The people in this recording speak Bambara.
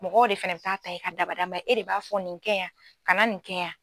Mɔgɔw de fana bɛ taa ta i ka dabada e de b'a fɔ nin kɛ yan kana nin kɛ yan.